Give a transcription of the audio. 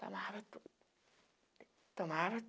Tomava tudo. Tomava